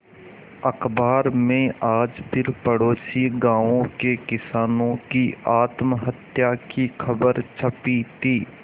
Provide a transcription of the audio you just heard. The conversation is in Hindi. अखबार में आज फिर पड़ोसी गांवों के किसानों की आत्महत्या की खबर छपी थी